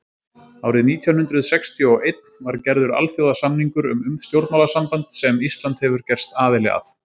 árið nítján hundrað sextíu og einn var gerður alþjóðasamningur um stjórnmálasamband sem ísland hefur gerst aðili að